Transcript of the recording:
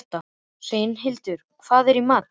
Sveinhildur, hvað er í matinn?